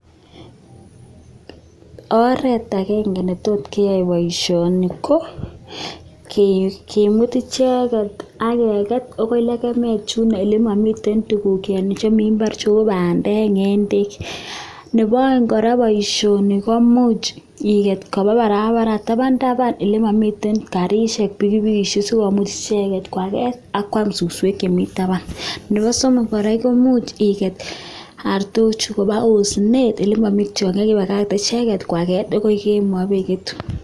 oret agenge netot kia poishoni ko, kimut icheket akeket akoi legemet chuno olemami tuguk chemi mbar cheu pandek ngendek. nebaeng kora poishoni komuch iget kopabarabara tapn tapan oilemami karishek pikipikishek sikomuch icheget kwaget ak kwam suswek chemi tapan. nepasomok imuchi iget artochu koba oosinet olemami tion egetugul ipakach kwaket akoi kemoi pigetu.